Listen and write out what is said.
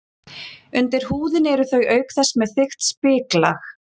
Undir húðinni eru þau auk þess með þykkt spiklag.